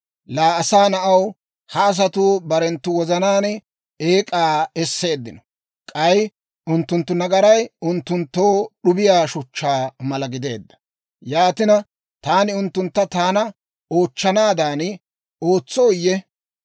«Laa asaa na'aw, ha asatuu barenttu wozanaan eek'aa esseeddino; k'ay unttunttu nagaray unttunttoo d'ubbiyaa shuchchaa mala gideedda. Yaatina, taani unttunttu taana oochchanaadan ootsooyye?